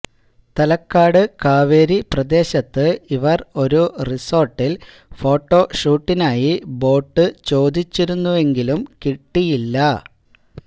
തലക്കാട് കാവേരി പ്രദേശത്ത് ഇവര് ഒരു റിസോട്ടില് ഫോട്ടോ ഷൂട്ടിനായി ബോട്ട് ചോദിച്ചിരുന്നെങ്കിലും കിട്ടിയുന്നില്ല